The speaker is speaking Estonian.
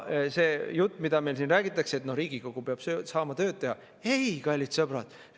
See jutt, mida meil siin räägitakse, et Riigikogu peab saama tööd teha – ei, kallid sõbrad!